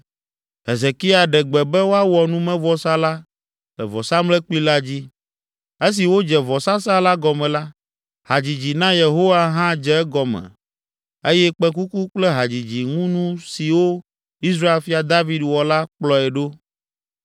Hezekia ɖe gbe be woawɔ numevɔsa la le vɔsamlekpui la dzi. Esi wodze vɔsasa la gɔme la, hadzidzi na Yehowa hã dze egɔme eye kpẽkuku kple hadzidziŋunu siwo Israel fia David wɔ la kplɔe ɖo.